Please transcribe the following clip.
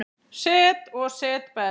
Set og setberg